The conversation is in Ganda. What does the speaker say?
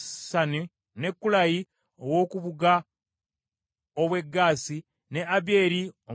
ne Kulayi ow’oku bugga obw’e Gaasi, ne Abiyeeri Omwalubasi,